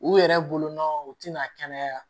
U yɛrɛ bolonɔ u tɛna kɛnɛya